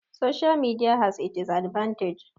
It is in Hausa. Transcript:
Social Media has its advantage